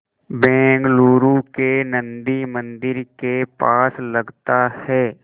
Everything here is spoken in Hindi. बेंगलूरू के नन्दी मंदिर के पास लगता है